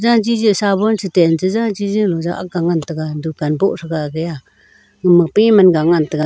sabon te tain che jaji jaw akha ngan taiga dukan boh threga age a uma piman ga ngan taiga.